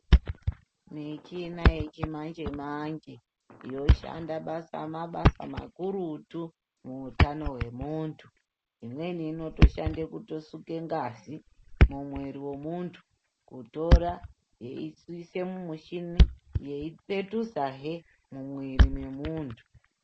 Michina yechimanje-manje yoshanda mabasa makurutu muhutano hwemuntu imweni inoshanda kusuka ngazi mumwiri wemuntu Kutora yeisa mushini yeipetudzazve mumwiri wemuntu.